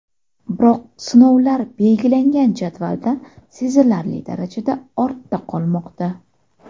Biroq sinovlar belgilangan jadvaldan sezilarli darajada ortda qolmoqda.